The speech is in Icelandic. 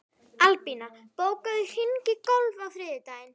Albína, bókaðu hring í golf á þriðjudaginn.